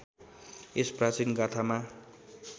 यस प्राचीन गाथामा